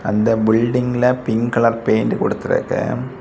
அந்த பில்டிங்கில pink colour paint குடுத்திருக்கு.